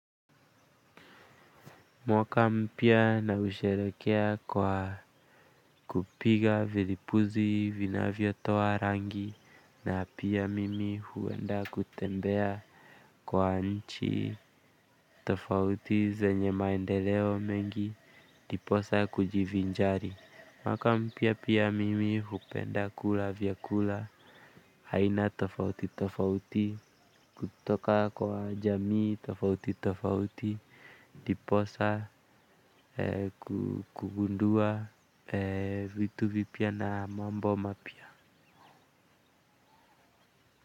Mwaka mpya na husherehekea kwa kupiga vilipuzi vinavyo toa rangi na pia mimi huenda kutembea kwa nchi tofauti zenye maendeleo mengi ndiposa kujivinjari. Mwaka mpya pia mimi hupenda kula vyakula aina tofauti tofauti. Kutoka kwa jamii tofauti tofauti ndiposa kugundua vitu vipya na mambo mapya.